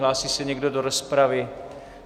Hlásí se někdo do rozpravy?